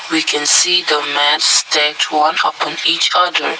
we can see the mats tent one of an each colour.